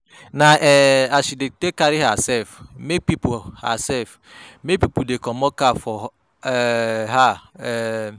Na um as she dey take carry hersef make pipo hersef make pipo dey comot cap for um her. um